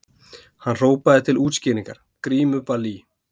Hann hrópaði til útskýringar:- Grímuball í